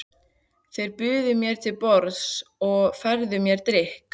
Þeir buðu mér til borðs og færðu mér drykk.